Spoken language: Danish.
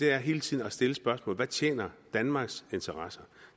er hele tiden at stille spørgsmålet hvad tjener danmarks interesser